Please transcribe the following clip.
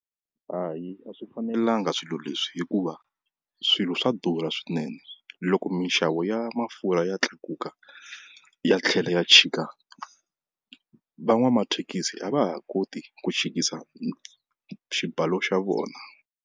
Hayi a swi fanelanga swilo leswi hikuva swilo swa durha swinene, loko minxavo ya mafurha ya tlakuka ya tlhela ya chika van'wamathekisi a va ha koti ku chikisa xibalo xa vona.